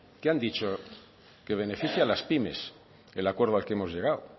qué han dicho que beneficia a las pymes el acuerdo al que hemos llegado